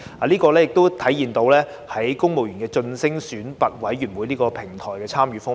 這亦體現在公務員晉升選拔委員會這個平台的參與方面。